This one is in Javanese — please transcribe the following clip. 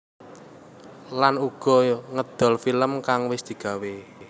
Lan uga ngedol film kang wis digawé